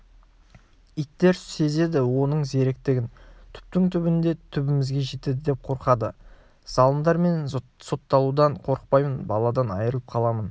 иттер сезеді оның зеректігін түптің-түбінде түбімізге жетеді деп қорқады залымдар мен сотталудан қорықпаймын баладан айырылып қаламын